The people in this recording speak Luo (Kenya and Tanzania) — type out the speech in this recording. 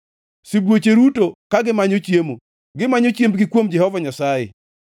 Sibuoche ruto ka gimanyo chiemo; gimanyo chiembgi kuom Jehova Nyasaye.